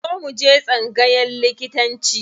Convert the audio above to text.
Zo mu je tsangayan likitanci.